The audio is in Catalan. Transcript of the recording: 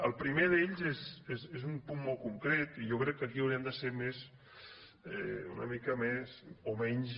el primer d’ells és un punt molt concret i jo crec que aquí hauríem de ser una mica més o menys